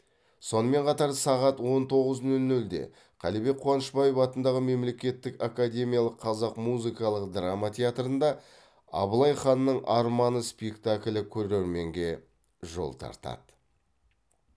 сонымен қатар сағат он тоғыз нөл нөлде қалибек қуанышбаев атындағы мемлекеттік академиялық қазақ музыкалық драма театрында абылай ханның арманы спектаклі көрерменге жол тартады